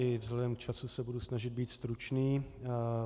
I vzhledem k času se budu snažit být stručný.